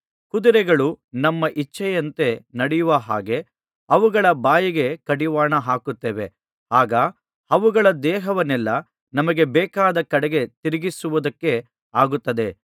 ಕುದುರೆಗಳು ನಮ್ಮ ಇಚ್ಚೆಯಂತೆ ನಡೆಯುವ ಹಾಗೆ ಅವುಗಳ ಬಾಯಿಗೆ ಕಡಿವಾಣ ಹಾಕುತ್ತೇವೆ ಆಗ ಅವುಗಳ ದೇಹವನ್ನೆಲ್ಲಾ ನಮಗೆ ಬೇಕಾದ ಕಡೆಗೆ ತಿರುಗಿಸುವುದಕ್ಕೆ ಆಗುತ್ತದೆ